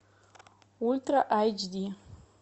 ультра айч ди